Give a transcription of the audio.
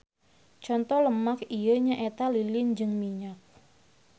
Conto lemak ieu nyaeta lilin jeung minyak.